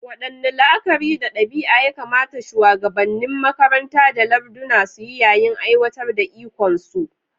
Waɗanne la'akari da ɗabi'a ya kamata shuwagabannin makaranta da larduna su yi yayin aiwatar da ikonsu?